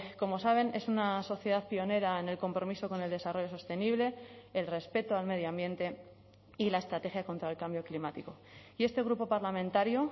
como saben es una sociedad pionera en el compromiso con el desarrollo sostenible el respeto al medio ambiente y la estrategia contra el cambio climático y este grupo parlamentario